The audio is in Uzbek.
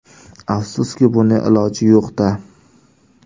Afsuski, buning iloji yo‘q-da.